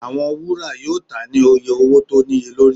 Awọn wura yoo ta ni iye owo ti o niyelori.